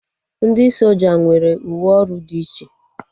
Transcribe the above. Ndị soja nwere uwe ọrụ dị iche